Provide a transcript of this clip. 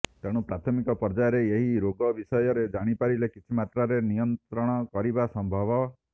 ତେଣୁ ପ୍ରାଥମିକ ପର୍ଯ୍ୟାୟରେ ଏହି ରୋଗ ବିଷୟରେ ଜାଣିପାରିଲେ କିଛିମାତ୍ରାରେ ନିୟନ୍ତ୍ରଣକରିବା ସମ୍ଭବ